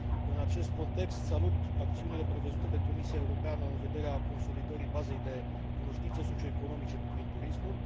În acest context, salut acțiunile prevăzute de Comisia Europeană în vederea consolidării bazei de cunoștințe socioeconomice privind turismul.